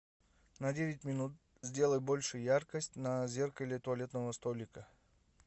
на девять минут сделай больше яркость на зеркале туалетного столика